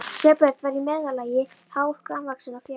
Sveinbjörn var í meðallagi hár, grannvaxinn og fjaður